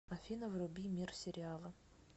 афина вруби мир сериала